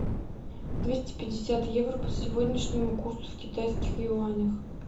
двести пятьдесят евро по сегодняшнему курсу в китайских юанях